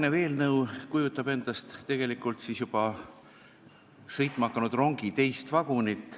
See eelnõu kujutab endast juba sõitma hakanud rongi teist vagunit.